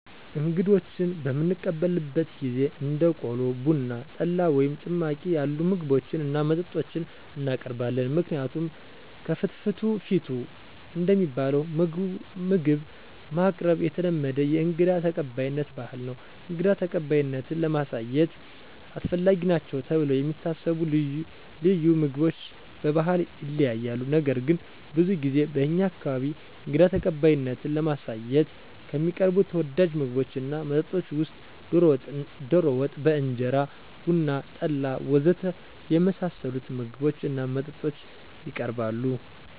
እንግዶችን በምንቀበልበት ጊዜ እንደ ቆሎ፣ ቡና፣ ጠላ ወይም ጭማቂ ያሉ ምግቦችን እና መጠጦችን እናቀርባለን። ምክንያቱም ከፍትፍቱ ፊቱ እንደሚባለው ምግብ ማቅረብ የተለመደ የእንግዳ ተቀባይነት ባህል ነው። እንግዳ ተቀባይነትን ለማሳየት አስፈላጊ ናቸው ተብለው የሚታሰቡ ልዩ ምግቦች በባህል ይለያያሉ። ነገር ግን ብዙ ጊዜ በእኛ አካባቢ እንግዳ ተቀባይነትን ለማሳየት ከሚቀርቡ ተወዳጅ ምግቦች እና መጠጦች ውስጥ ዶሮ ወጥ በእንጀራ፣ ቡና፣ ጠላ ወ.ዘ.ተ. የመሳሰሉት ምግቦች እና መጠጦች የቀርባሉ።